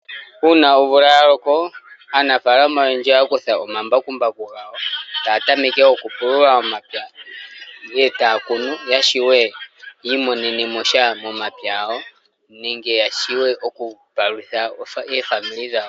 Uuna omvula ya loko, aanafalama oyendji ohaya kutha omambakumbaku gawo, taya tameke okupulula omapya e taya kunu. Ya shuwe ya imonenemo sha momapya gawo. Nenge ya shuwe okupalutha aanegumbo yawo.